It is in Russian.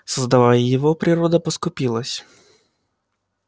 создавая его природа поскупилась